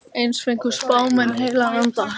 Eins fengu spámenn heilagan anda.